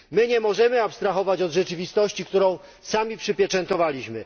My nie możemy abstrahować od rzeczywistości, którą sami przypieczętowaliśmy.